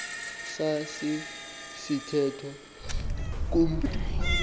saci sithethwa kumntu